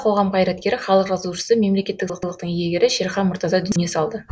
қоғам қайраткері халық жазушысы мемлекеттік сыйлықтың иегері шерхан мұртаза дүние салды